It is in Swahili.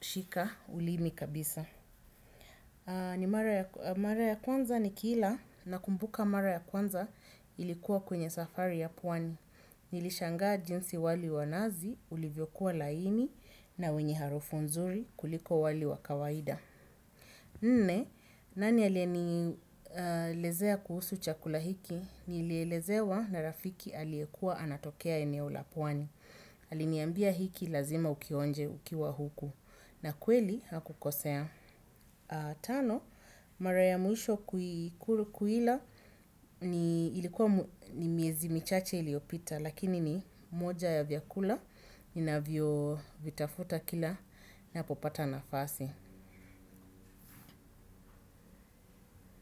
shika ulimi kabisa ni mara ya kwanza nikiila nakumbuka mara ya kwanza ilikuwa kwenye safari ya pwani. Nilishangaa jinsi wali wa nazi ulivyokuwa laini na wenye harufu nzuri kuliko wali wa kawaida nne, nani aliye nielezea kuhusu chakula hiki? Nilielezewa na rafiki aliekuwa anatokea eneo la pwani. Aliniambia hiki lazima ukionje ukiwa huku na kweli hakukosea. Tano, mara ya mwisho kuila ilikuwa ni miezi michache iliyopita lakini ni moja ya vyakula ninavyo vitafuta kila napopata nafasi.